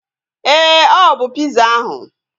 Éè, ọ bụ piza ahu